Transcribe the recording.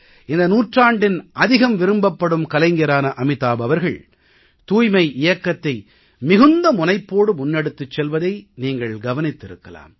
இந்த நூற்றாண்டின் அதிகம் விரும்பப்படும் கலைஞரான அமிதாப் அவர்கள் தூய்மை இயக்கத்தை மிகுந்த முனைப்போடு முன்னெடுத்துச் செல்வதை நீங்கள் கவனித்திருக்கலாம்